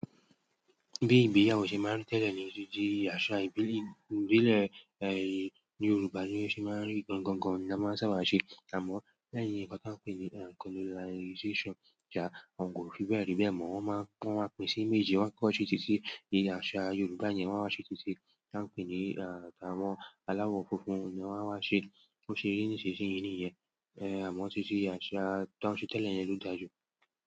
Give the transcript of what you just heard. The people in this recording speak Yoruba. Bí ìgbéyàwó ṣe máa ń rí tẹ́lẹ̀ ni ó ti di àṣà ìbílẹ̀, ìbílẹ̀, ẹ́, ní Yorùbá ni wọ́n ṣe máa ń rí gan-an gan-an ni a máa ń sábà ṣe. Àmọ́, lẹ́yìn nǹkan tí a ń pè ní colonialization, tí a òún kò fi bẹ́ẹ̀ rí bẹ́ẹ̀ mọ́, wọ́n máa ń kó wa pè sí méjì. Wa koko se titi asa yorùbá yen won wa se titi tan pe ni àwọn alawọ funfun yen won wa se bose ri nisinsin yìí niyen. Ẹ̀, àmọ́ títí àṣà tán ṣe tẹ́lẹ̀ ni ẹ́ lọ dàaju.